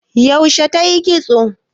Yaushe tayi kitso?